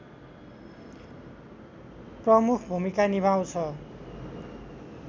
प्रमुख भूमिका निभाउँछ